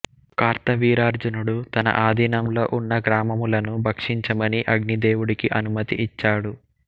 కార్తవీర్యార్జునుడు తన ఆధీనంలో ఉన్న గ్రామములను భక్షించమని అగ్నిదేవుడికి అనుమతి ఇచ్చాడు